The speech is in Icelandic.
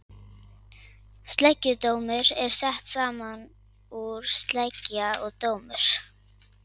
sleggjudómur er sett saman úr sleggja og dómur